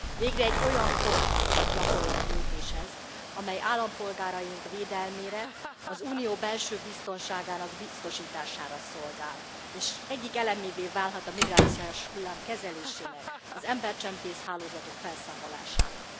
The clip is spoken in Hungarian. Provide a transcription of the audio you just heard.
Végre egy olyan konkrét, gyakorlati lépés ez, amely állampolgáraink védelmére, az Unió belső biztonságának biztosítására szolgál, és egyik elemévé válhat a migrációs hullám kezelésének, az embercsempész hálózatok felszámolásának.